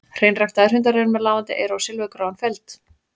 Hreinræktaðir hundar eru með lafandi eyru og silfurgráan feld.